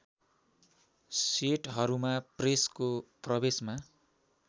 सेटहरूमा प्रेसको प्रवेशमा